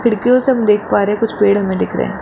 खिड़कियों से हम देख पा रहे हैं कुछ पेड़ हमें दिख रहे हैं।